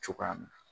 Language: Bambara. Cogoya min na